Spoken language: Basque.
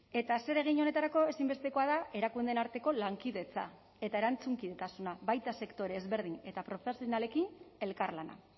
eta zeregin honetarako ezinbestekoa da erakundeen arteko lankidetza eta erantzunkidetasuna baita sektore ezberdin eta profesionalekin elkarlana